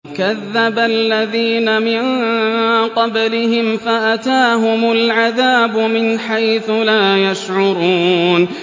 كَذَّبَ الَّذِينَ مِن قَبْلِهِمْ فَأَتَاهُمُ الْعَذَابُ مِنْ حَيْثُ لَا يَشْعُرُونَ